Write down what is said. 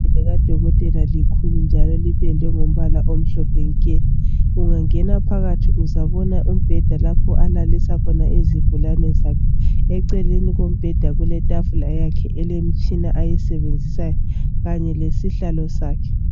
Igumbi likadokotela likhulu kakhulu njalo lipendwe ngombala omhlophe nke. Ungangena phakathi uzabona umbheda alalisa izigulane zakhe eceleni lapho kuletafula kanye lesihlalo sakhe.